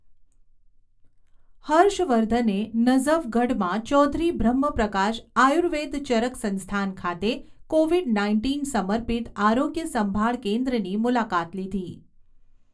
હર્ષવર્ધને નઝફગઢમાં ચૌધરી બ્રહ્મપ્રકાશ આયુર્વેદ ચરક સંસ્થાન ખાતે કોવિડ નાઇન્ટીન સમર્પિત આરોગ્ય સંભાળ કેન્દ્રની મુલાકાત લીધી